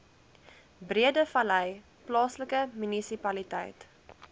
breedevallei plaaslike munisipaliteit